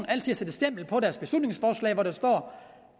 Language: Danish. at sætte et stempel på deres beslutningsforslag hvor der står